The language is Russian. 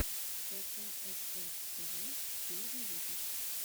пэкаэфэр тэвэ первый выпуск